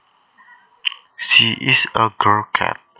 She is a girl cat